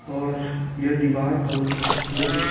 और यह दीवार बहुत ही खूबसूरत दिख --